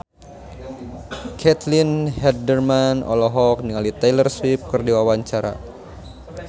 Caitlin Halderman olohok ningali Taylor Swift keur diwawancara